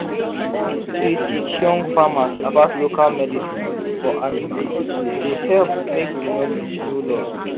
to dey teach young farmers about local medicine for animal dey help make the knowledge no lost.